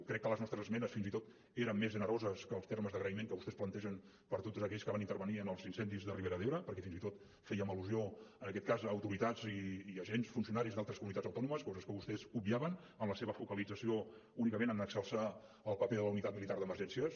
crec que les nostres esmenes fins i tot eren més generoses que els termes d’agraïment que vostès plantegen per tots aquells que van intervenir en els incendis de la ribera d’ebre perquè fins i tot fèiem al·lusió en aquest cas a autoritats i agents funcionaris d’altres comunitats autònomes coses que vostès obviaven amb la seva focalització únicament a exalçar el paper de la unitat militar d’emergències